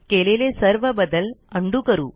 केलेले सर्व बदल उंडो करू